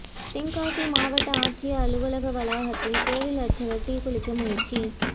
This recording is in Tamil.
தென்காசி மாவட்ட ஆட்சியா் அலுவலக வளாகத்தில் கோயில் அா்ச்சகா் தீக்குளிக்க முயற்சி